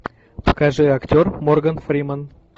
покажи актер морган фримен